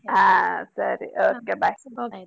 ಹಾ ಸರಿ okay bye .